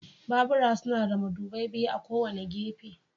Babura suna da madubai biyu a kowane gefe.